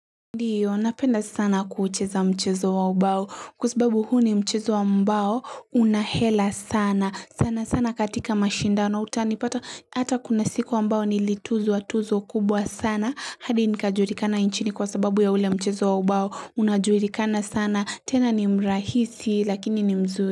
Ndiyo napenda sana kuucheza mchezo wa mbao kuzibabu huni mchezo wa mbao unahela sana sana sana katika mashindano utani pata hata kuna siku wa mbao nilituzo wa tuzo kubwa sana hadi nikajurikana inchini kwa sababu ya ule mchezo wa mbao unajurikana sana tena ni mrahisi lakini ni mzuri.